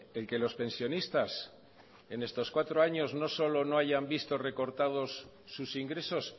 el que los pensionistas en estos cuatro años no solo no hayan visto recortados sus ingresos